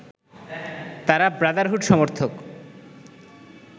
তারা ব্রাদারহুড সমর্থক